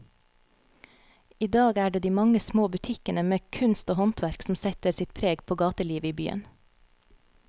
I dag er det de mange små butikkene med kunst og håndverk som setter sitt preg på gatelivet i byen.